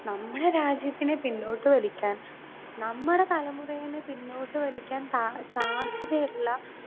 speaker 2 നമ്മടെ രാജ്യത്തിനെ പിന്നോട്ട് വലിക്കാൻ നമ്മടെ തലമുറയിനെ പിന്നോട്ട് വലിക്കാൻ താ സാധ്യത ഉള്ള